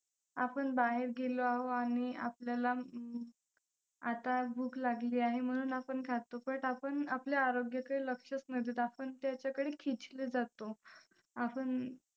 आपण बाहेर गेलो आहोत आणि आपल्याला आता भूक लागली आहे म्हणून आपण खातो but आपण आपल्या आरोग्याकडे लक्षच नाही देत. आपण त्याच्याकडे खिचले जातो. आपण